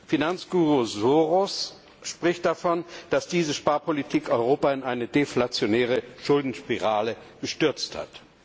Finanzguru Soros spricht davon, dass diese Sparpolitik Europa in eine deflationäre Schuldenspirale gestürzt hat.